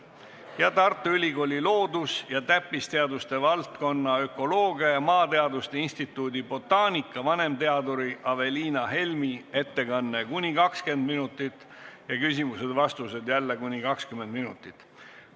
Ja lõpuks on sõna Tartu Ülikooli loodus- ja täppisteaduste valdkonna ökoloogia ja maateaduste instituudi botaanika vanemteaduril Aveliina Helmil – ettekanne kuni 20 minutit ja küsimused-vastused jälle kuni 20 minutit.